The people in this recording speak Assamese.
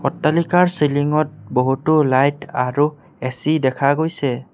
অট্টালিকাৰ চিলিংত বহুতো লাইট আৰু এ_চি দেখা গৈছে।